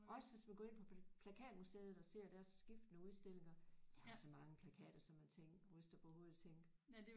Også hvis man går ind på plakatmuseet og ser deres skiftende udstillinger der er så mange plakater som man tænker ryster på hovedet og tænker